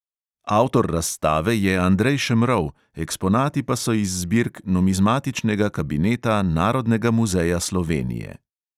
Avtor razstave je andrej šemrov, eksponati pa so iz zbirk numizmatičnega kabineta narodnega muzeja slovenije.